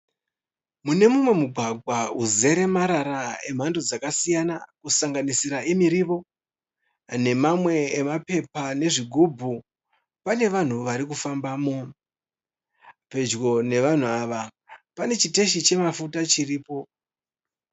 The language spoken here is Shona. Mune mumwe mugwagwa uzere marara emhando dzakasiyana kusanganisira emirivo, nemamwe emapepa nezvigubhu pane vanhu vari kufambamo. Pedyo navanhu ava pane chiteshi chemafuta chiripo.